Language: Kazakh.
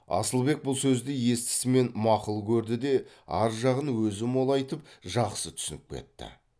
асылбек бұл сөзді естісімен мақұл көрді де ар жағын өзі молайтып жақсы түсініп кетті